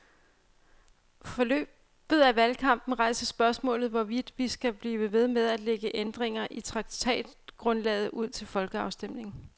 Forløbet af valgkampen rejser spørgsmålet, hvorvidt vi skal blive ved med at lægge ændringer i traktatgrundlaget ud til folkeafstemning.